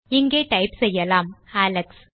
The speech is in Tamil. இங்கே டைப் செய்யலாம் அலெக்ஸ்